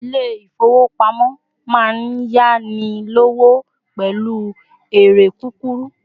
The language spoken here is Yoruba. ilé ifowopamọ ma n yani lọwọ pẹlu eré kukuru